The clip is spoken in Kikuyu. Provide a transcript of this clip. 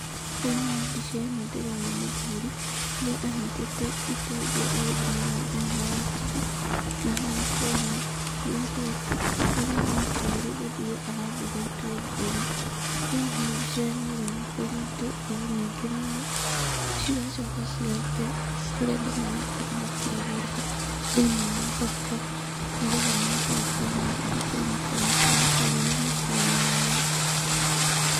Thĩiniĩ wa mbica ĩno ndĩrona mũthuri, harĩa anyitĩte itũngũrũ agĩthimaga thĩiniĩ wa ratiri, na haha nĩ ndĩrona mũirĩtu, harĩa ahana ta arĩ gũthura arathura itũngũrũ. Thĩiniĩ wa mbica ĩno, ĩroneka nĩ itũngũrũ nyingĩ mũno, cigacoka cigaitwo kũrĩa andũ marakorwo makĩĩgũrĩra thĩiniĩ wa thoko, nĩ getha mahote gũkorwo magĩthiĩ kũinũka nacio makaruge mĩciĩ-inĩ yao.